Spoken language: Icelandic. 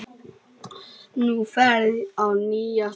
Nú ferðu á nýjan stað.